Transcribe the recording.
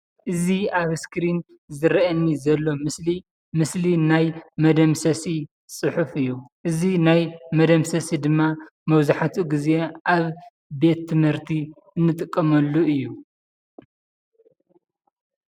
እዚ ኣብ እስክሪን ዝረአየኒ ዘሎ ምስሊ ምስሊ ናይ መደምሰሲ ፅሑፍ እዩ፡፡ እዚ ናይ መደምሰሲ ድማ መብዛሕትኡ ጊዜ ኣብ ቤት ትምህርቲ እንጥቀመሉ እዩ፡፡